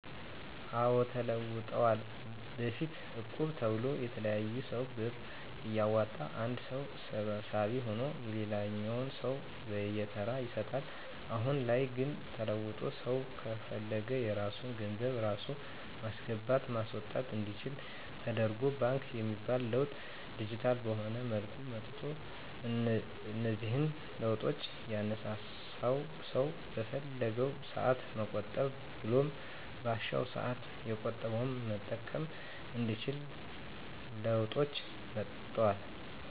አዎ ተለውጠዋል በፊት እቁብ ተብሎ የተለያየ ሰው ብር እያዋጣ አንድ ሰው ሰብሳቢ ሁኖ ለሌላኛው ሰው በየተራ ይሰጣል። አሁን ላይ ግን ተለውጦ ሰው ከፈለገ የራሱን ገንዘብ ራሱ ማስገባት ማስወጣት አንዲችል ደተርጎ ባንክ በሚል ለውጥ ዲጂታል በሆነ መልኩ መጥቷል። እነዚህን ለውጦች ያነሳሳው ሰው በፈለገው ሰአት መቆጠብ ብሎም ባሻው ሰአት የቆጠበውን መጠቀም እንዲችል ለውጦች መጥተዋል።